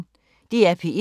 DR P1